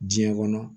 Diɲɛ kɔnɔ